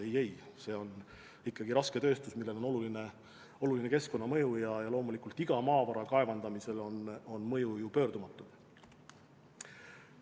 Ei-ei, see on ikkagi rasketööstus, millel on oluline keskkonnamõju, ja loomulikult iga maavara kaevandamisel on mõju pöördumatu.